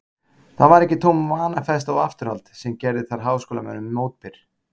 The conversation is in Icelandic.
Það var ekki tóm vanafesta og afturhald, sem gerði þar háskólamönnum mótbyr.